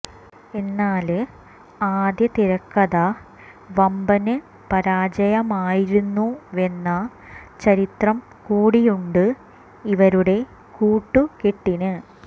എന്നാല് ആദ്യ തിരക്കഥ വമ്പന് പരാജയമായിരുന്നുവെന്ന ചരിത്രം കൂടിയുണ്ട് ഇവരുടെ കൂട്ടുകെട്ടിന്